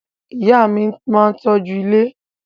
Ìyá mi máa ń tọ́jú ilé